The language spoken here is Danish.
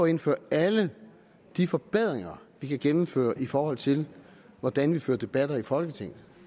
indføre alle de forbedringer vi kan gennemføre i forhold til hvordan vi fører debatter i folketinget